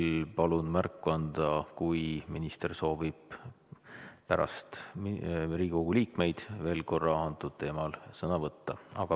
Aga ma palun teil märku anda, kui te soovite pärast Riigikogu liikmeid veel korra sellel teemal sõna võtta.